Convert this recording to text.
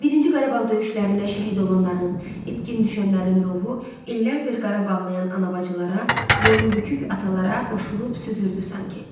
Birinci Qarabağ döyüşlərində şəhid olanların, itkin düşənlərin ruhu illərdir Qarabağlıyan ana bacılara, boynu bükük atalara qoşulub süzürdü sanki.